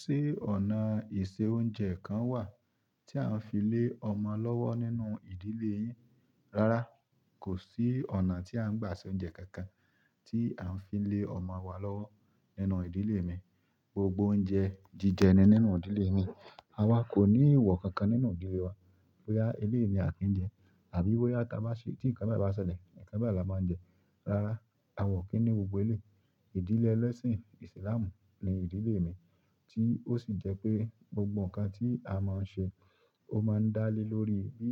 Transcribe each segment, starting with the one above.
Ṣé ọ̀nà ìse oúnjẹ kan wà tí à ń fi lé ọmọ lọ́wọ́ nínú ìdílé yín? Rárá, kò sí ọ̀nà tí a ń gbà se oúnjẹ kankan tí à ń fi lé ọmọ wa lọ́wọ́ nínú ìdílé mi. Gbogbo oúnjẹ jíjẹ ni nínú ìdílé mi. A wa kò ní ìwò kankan nínú ìdílé wa pé a eléèni à kí ń jẹ àbí wípé tí nǹkan bá ṣẹlẹ̀, nǹkan bẹ́ẹ̀ la máa ń jẹ. Rárá, àwa ò kí ń ní gbogbo eléyìí. Ìdílé ẹlẹ́sìn ìsìlámù ni ìdílé mi tí ó sì jẹ́ pé gbogbo nǹkan tí a máa ń ṣe, ó máa ń dá lé lórí bí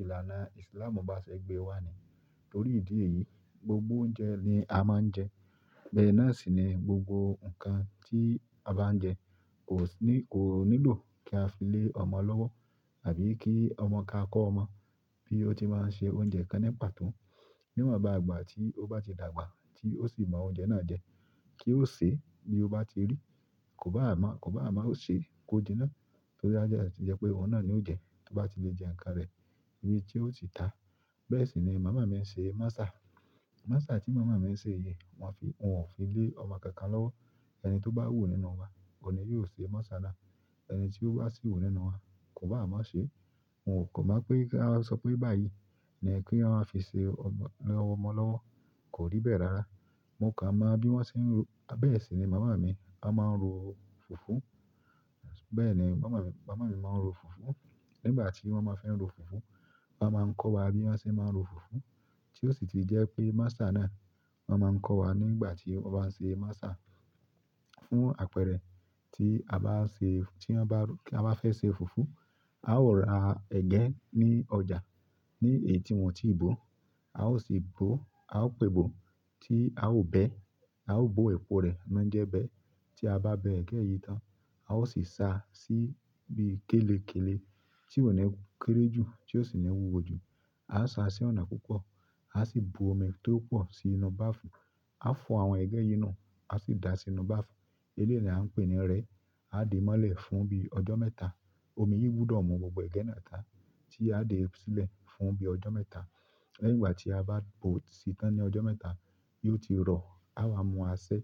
ìlànà ìsìlámù bá ṣe gbé wa nìyẹn. Nítorí ìdí èyí, gbogbo oúnjẹ ni a máa ń jẹ. Bẹ́ẹ̀ náà sì ni gbogbo nǹkan tí a bá ń jẹ kò nílò kí a fi lé ọmọ lọ́wọ́ àbí kí ọmọ ka kọ́ ọmọ bí ó ti máa ń ṣe oúnjẹ kan nípa tún. Níwọ̀n bá ìgbà tí ó bá di dàgbà tí ó sì mọ oúnjẹ náà jẹ kí ó sè bí ó bá ti rí. Kò bá mọ, kò bá mọ, ó ṣe kó jinná. Torí yẹ pé òun náà ni ó jẹ, ó bá ti lè jẹ nǹkan rẹ̀ níbi tí ó sì tá. Bẹ́ẹ̀ sì ni màmá mi ń ṣe mọ́sà mọ́sà tí màmá mi ń ṣe yìí, wọn ò fi lé ọmọ kankan lọ́wọ́. Ẹni tó bá wù nínú wa òun ní yóò se mọ́sà náà. Ẹni tí ó bá sì wù nínú wa, o ò báà má ṣeé. N ò máa pẹ́ kí a sọ pé báyìí ni kí a máa fi ṣe ọmọ lọ́wọ́, kò rí bẹ́ẹ̀ rárá. Mo kàn mọ bí wọ́n ṣe ń ro. Bẹ́ẹ̀ sì ni màmá mi wọ́n máa ń ro fùfú. Bẹ́ẹ̀ni màmá mi, màmá mi máa ń ro fùfú. Nígbà tí wọ́n máa fi ń ro fùfú, wọ́n máa ń kọ́ wa bí wọ́n ṣe máa ń ro fùfú tí ó sì ti jẹ́ pé mọ́sà náà wọ́n máa ń kọ́ wa nígbà tí wọ́n bá ń ṣe masa. Fún àpẹẹrẹ tí a bá fẹ́ ṣe fùfú, a ó ra ẹ̀gẹ́ ní ọjà ní èyí tí wọn ò tíì bó. A ó sì gbó, a ó pe bò tí a ó bẹ, a ó bo epo rẹ̀ máa ń jẹ́ bẹ́. Tí a bá bẹ ẹ̀gẹ́ yìí tán, a ó sì sa sí ibi kélekéle tí kò ní kéré jù tí ó sì ní wúwo jù. A sa sí ọ̀nà púpọ̀, a sì bu omi tó pọ̀ sí inú bààfù. A fọ àwọn ẹ̀gẹ́ yìí nù, a sì dà á sínú bààfù. Eléyìí ni à ń pè ní rẹ ẹ́. Àá dèé mọ́lẹ̀ fún bí ọjọ́ mẹ́ta. Omi yìí gbúdọ̀ mu gbogbo ẹ̀gẹ́ náà tán, tí aá dẹ̀ fi sílẹ̀ fún bí ọjọ́ mẹ́ta. Lẹ́yìn ìgbà tí a bá bò ó sí tán ní ọjọ́ mẹ́ta, yóò ti rọ̀. A wa mú asẹ́,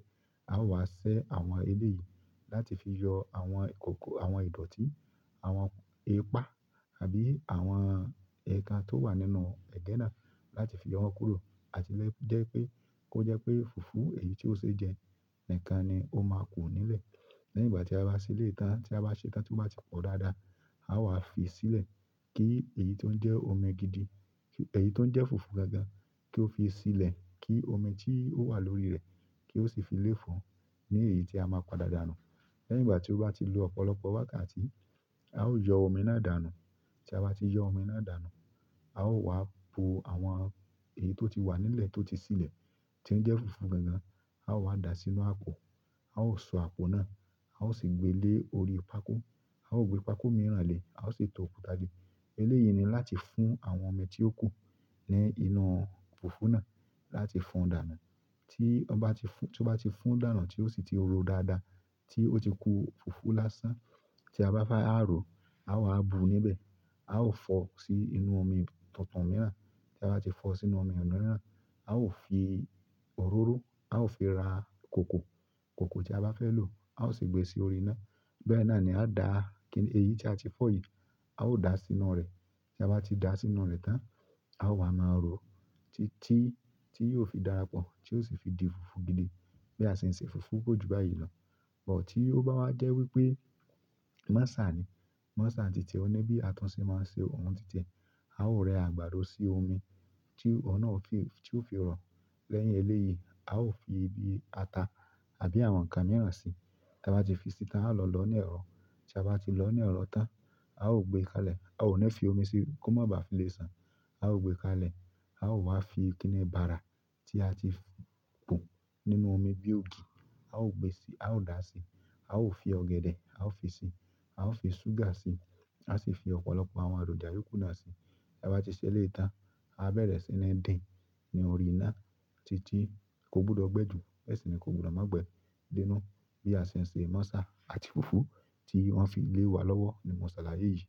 a wá ṣẹ àwọn eléè yìí láti fi yọ àwọn ìdọ̀tí, àwọn ipá àbí àwọn ẹ̀kan tó wà nínú ẹ̀gẹ́ náà láti fi yọ wọ́n kúrò àti jẹ́ pé kó jẹ́ pé fùfú èyí tí ó ṣe jẹ nǹkan ni ó máa kù nílẹ̀. Ní ìgbà tí a bá ṣe'léyìí tán, tí a bá ṣe tán, tó bá ti pọ̀ dáadáa, aá wá fi sílẹ̀ kí èyí tí ó jẹ́ omi gidi, èyí tó ń jẹ́ fùfú gangan kí ó fi sílẹ̀ kí omi tí ó wà lórí rẹ̀ kí ó sì fi léfòó ní èyí tí a máa padà dà nù. Lẹ́yìn ìgbà tí ó bá ti lo ọ̀pọ̀lọpọ̀ wákàtí, a ó yọ́ omi náà dànù. Tí a bá ti yọ́ omi náà dànù, a ó wá bu àwọn èyí tó ti wà nílẹ̀ tó ti silẹ̀ tí ń jẹ́ fùfú gangan, a ó wá dà á sínú àpò, a ó so àpò náà, a ó sì gbé lé orí pákó. A ó gbé pákó mìíràn le, a ó sì to òkúta dé. Eléyìí ni láti fún àwọn omi tí ó kù ní inú fùfú náà láti fún-un dànù. Tí wọ́n bá ti fún tí ó bá ti fún dànù tí ó sì ti ro dáadáa tí ó ti ku fùfú lásán tí a bá fẹ́ a rò, áá wá bùú níbẹ̀. A ó fọ sí inú omi tuntun mìíràn. Tí a bá ti fọ sí inú omi mìíràn, a ó fi òróró, a ó fi ra kòkò, kòkò tí a bá fẹ́ lò, a ó sì gbé sí orí iná. Bẹ́ẹ̀ náà ni á dá kí èyí tí a ti fọ yìí, a ó dà á sínú rẹ̀. Táa bá ti dàá sínú rẹ̀ tán, a óò wá máa ròó títí tí yóò fi darapọ̀, tí óò sì fi di fùfú gidi. Bí a ṣe ń ṣe fùfú kò ju báyìí lọ ọ̀ tí ó bá wá jẹ́ wípé mọ́sà ni, mọ́sà ń ti tiẹ̀, ó ní bí a tún ṣe máa ń ṣe oun títẹ, a ó rẹ àgbàdo sí omi tí ó fi rọ̀ lẹ́yìn eléèyí, a ó fi ibi ata àbí àwọn nǹkan mìíràn sí i. Tí a bá ti fi sí i tán, a ó lọ lọ̀ọ́ ní ẹ̀rọ. Tí a bá ti lọ̀ọ́ ní ẹ̀rọ tán, a ó gbé e kalẹ̀. A ó ní fi omi sí i kó má bá fi le san. A ó gbé e kalẹ̀, a ó wá fi kíni bara tí a ti pò nínú omi bí ògì, a ó gbèsì, a ó dà á sí, a ó fi ọ̀gẹ̀dẹ̀, a ó fi si, a ó fi ṣúgà síi, a sì fi ọ̀pọ̀lọpọ̀ àwọn èròjà yòókù náà síi. Tí a bá ti ṣe'léyìí tán, a bẹ̀rẹ̀ sí ní dín-in ní orí iná títí kó gbudọ̀ gbẹ jù. Bẹ́ẹ̀ sì ni kó gbudọ̀ má gbẹ dé inú bí a ṣe ń ṣe masa àti fùfú tí wọ́n fi lé wa lọ́wọ́ ni mọ́sàlà yìí yìí.